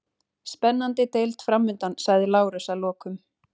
Spennandi deild framundan, sagði Lárus að lokum.